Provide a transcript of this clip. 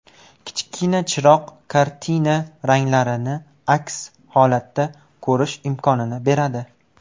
Kichkina chiroq kartina ranglarini asl holatda ko‘rish imkonini beradi.